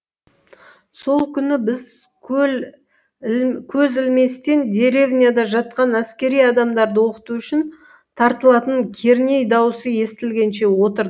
сол күні біз көз ілместен деревняда жатқан әскери адамдарды оқыту үшін тартылатын керней даусы естілгенше отыр